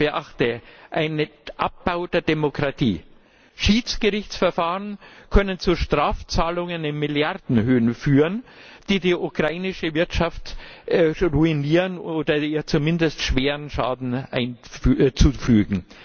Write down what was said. Man beachte einen Abbau der Demokratie. Schiedsgerichtsverfahren können zu Strafzahlungen in Milliardenhöhen führen, die die ukrainische Wirtschaft ruinieren oder ihr zumindest schweren Schaden zufügen.